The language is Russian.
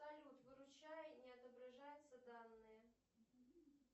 салют выручай не отображаются данные